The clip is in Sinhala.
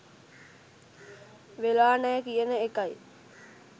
වෙලා නෑ කියන එකයි.